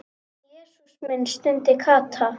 Jesús minn stundi Kata.